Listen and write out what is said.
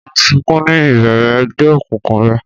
O n sunkun ni ibẹrẹ ẹgbẹ okunkun rẹ.